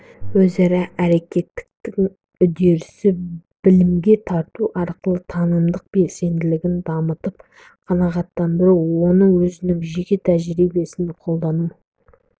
өзара әрекеттестігі үдерісі білімге тарту арқылы танымдық белсенділігін дамытып қанағаттандыру оны өзінің жеке тәжірибесінде қолдану